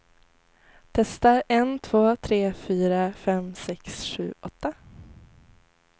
Testar en två tre fyra fem sex sju åtta.